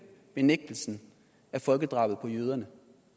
benægtelsen af folkedrabet på jøderne